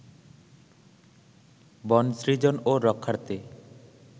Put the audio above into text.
বন সৃজন ও রক্ষার্থে